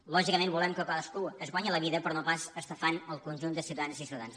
lò·gicament volem que cadascú es guanyi la vida però no pas estafant el conjunt de ciutadans i ciutadanes